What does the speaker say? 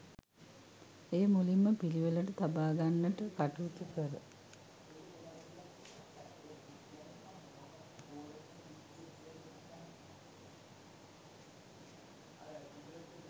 එය මුලින්ම පිළිවෙලට තබාගන්නට කටයුතු කර